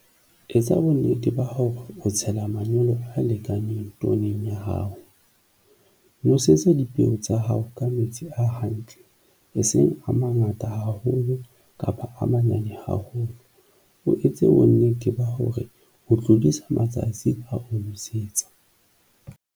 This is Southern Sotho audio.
Etsa bonnete ba hore o tshela manyolo a lekaneng pooneng ya hao. Nosetsa dipeo tsa hao ka metsi a hantle, eseng a mangata haholo kapa a manyane haholo. O etse bonnete ba hore o tlodisa matsatsi a ho nosetsa.